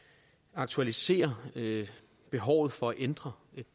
aktualiserer behovet for at ændre